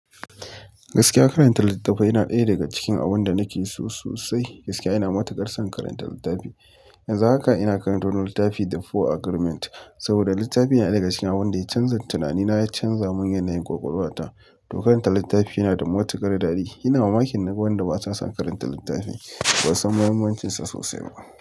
Gaskiya karanta littattafai, yana ɗaya daga cikin abun da nake so sosai. Gaskiya ina matuƙar san karanta littafi. Yanzu haka ina karanta wani littafi, the four Agreement. Saboda littafin yana ɗaya daga cikin abin da canzan tinani na, ya canza mun yanayin ƙwaƙwalwa ta. To karanta littafi yana da mataƙar daɗi. Ina mamakin naga wanda basa son karanta littafi, basu san mahimmancinsa sosai ba.